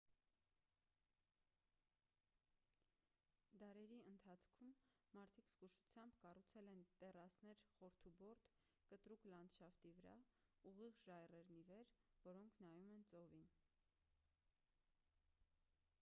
դարերի ընթացքում մարդիկ զգուշությամբ կառուցել են տեռասներ խորդուբորդ կտրուկ լանդշաֆտի վրա ուղիղ ժայռերն ի վեր որոնք նայում են ծովին